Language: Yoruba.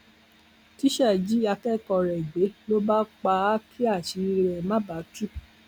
tísá jí akẹkọọ rẹ gbé ló bá pa á kí àṣírí ẹ má bàa tú